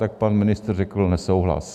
Tak pan ministr řekl nesouhlas.